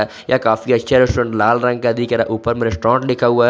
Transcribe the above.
यह काफी अच्छा रेस्टोरेंट लाल रंग का दिख रहा है ऊपर में रेस्टोरेंट लिखा हुआ है।